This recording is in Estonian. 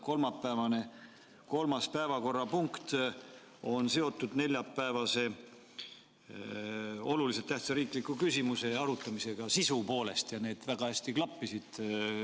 Kolmapäevane kolmas päevakorrapunkt on sisu poolest seotud neljapäevase olulise tähtsusega riikliku küsimuse arutamisega ja need väga hästi klappisid.